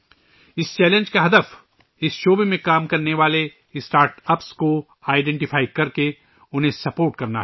اس challenge کا مقصد اس شعبے میں کام کرنے والے اسٹارٹ اپس کی شناخت اور مدد کرنا تھا